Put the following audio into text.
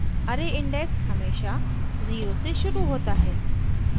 * array index हमेशा zero से शुरू होता है